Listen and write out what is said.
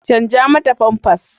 Canza mata famfas.